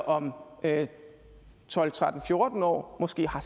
om tolv tretten fjorten år måske har